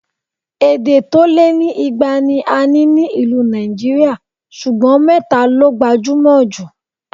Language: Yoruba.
Èdè tó lé ní ìgbà ni a ní ní ìlú Nàìjíríà ṣùgbọ́n mẹ́ta ló gbajúmọ̀ jù